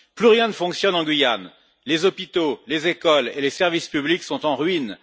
Plus rien ne fonctionne en Guyane les hôpitaux, les écoles et les services publics sont en ruine